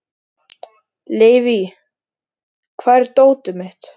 Leivi, hvar er dótið mitt?